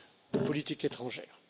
de politique étrangère.